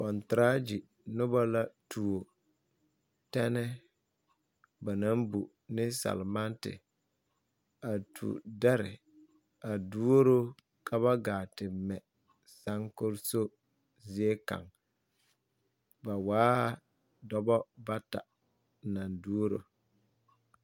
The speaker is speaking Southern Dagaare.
Konteregye noba la tuo tanner ba naŋ pu ne selmante a tuo ne dare a tuoro ka ba gaa te mɛ saŋkoreso zie kaŋ ba waa dɔbɔ bata naŋ tuoro.